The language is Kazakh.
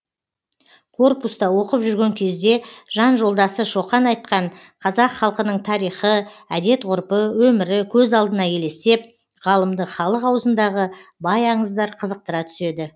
корпуста оқып жүрген кезде жан жолдасы шоқан айтқан қазақ халқының тарихы әдет ғұрпы өмірі көз алдына елестеп ғалымды халық аузындағы бай аңыздар қызықтыра түседі